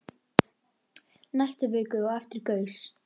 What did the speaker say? Næstu viku á eftir gaus